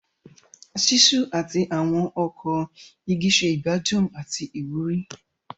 Ṣiṣu ati awọn ọkọ igi ṣe igbadun ati iwuri.